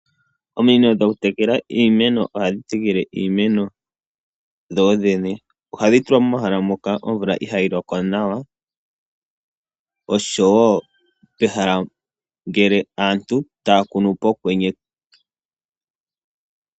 Ominino dhoku tekela iimeno ohadhi tekele iimeno dho dhene. Ohadhi tulwa momahala moka omvula ihaa yi loko nawa noshowo pehala ngele aantu taya kunu pokwenye.